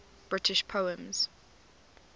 british poems